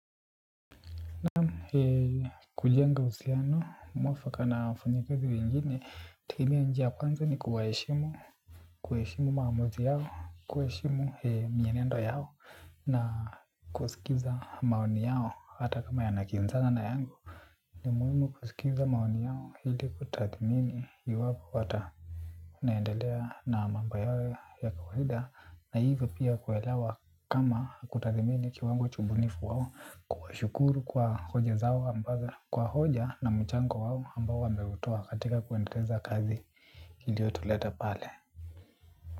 Ni kujenga uhusiano, mwafaka na wafanya ikazi wengine, tumia njia kwanza ni kuwaheshimu, kuheshimu maamuzi yao, kuheshimu mienendo yao na kusikiza maoni yao hata kama yanakinzana na yangu. Ni muhimu kusikiliza maoni yao ili kutathimini hii wapo wata naendelea na mambo yao ya kawaida na hivyo pia kuwelewa kama kutathimini kiwango cha ubunifu wao, kuwashukuru kwa hoja zao ambazo kwa hoja na mchango wao ambao wameutoa katika kuendeleza kazi iliyotuleta pale.